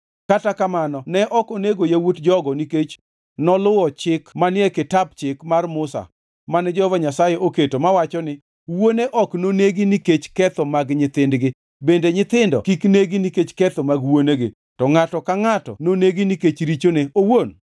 Kata kamano ne ok onego yawuot jogo nikech noluwo chik manie Kitap Chik mar Musa mane Jehova Nyasaye oketo mawacho niya, “Wuone ok nonegi nikech ketho mag nyithindgi, bende nyithindo kik negi nikech ketho mag wuonegi, to ngʼato ka ngʼato nonegi nikech richone owuon.”